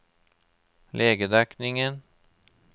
legedekningen